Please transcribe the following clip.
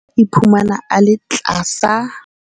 Iphumana a le tlasa.